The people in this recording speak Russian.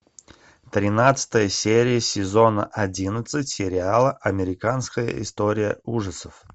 тринадцатая серия сезона одиннадцать сериала американская история ужасов